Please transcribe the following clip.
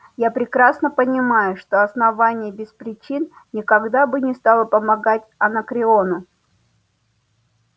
я прекрасно понимаю что основание без причин никогда бы не стало помогать анакреону